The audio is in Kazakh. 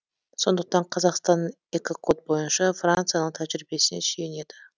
сондықтан қазақстан экокод бойынша францияның тәжірибесіне сүйенеді